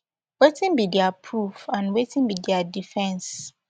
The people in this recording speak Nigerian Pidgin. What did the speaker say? wetin be dia proof and wetin be dia defence